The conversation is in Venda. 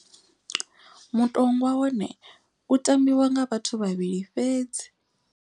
Mutongwa wone u tambiwa nga vhathu vhavhili fhedzi.